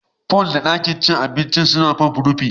Pool da ɗakin cin abinci suna Pop rufi